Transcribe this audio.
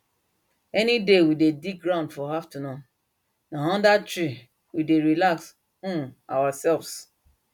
any day we dey dig ground for afternoon na under tree we dey relax um ourselves